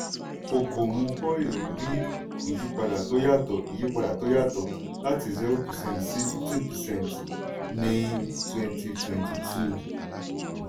okomu oil rí ìyípadà tó yàtò ìyípadà tó yàtò láti zero percent sí fifteen percent ní twenty twenty two.